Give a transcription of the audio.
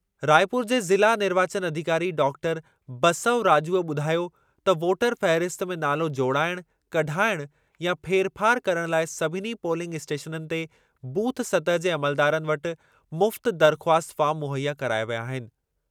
रायपुर जे ज़िला निर्वाचनु अधिकारी डाक्टर बसव राजूअ ॿुधायो त वोटर फ़हरिस्त में नालो जोड़ाइण, कढाइण या फेरफार करणु लाइ सभिनी पोलिंग इस्टेशननि ते बूथ सतहि जे अमलदारनि वटि मुफ़्त दरख़्वास्त फार्म मुहैया कराया विया आहिनि।